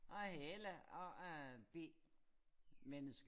Og jeg er Helle og jeg er B menneske